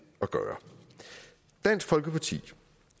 at gøre dansk folkeparti